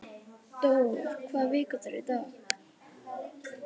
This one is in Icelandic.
Dór, hvaða vikudagur er í dag?